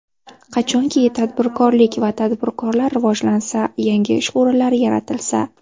Qachonki tadbirkorlik va tadbirkorlar rivojlansa, yangi ish o‘rinlari yaratilsa.